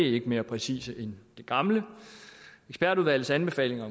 ikke mere præcise end de gamle ekspertudvalgets anbefalinger